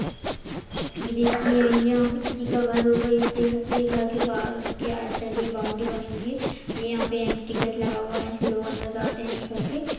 ये देखिए यहाँ पर किसी का घर होगा घर के बाहर उनके बॉउन्ड्री बनी हुई है ये यहाँ पे एंट्री गेट लगा हुआ हैं यही से लोग अंदर जाते हैं इस घर के--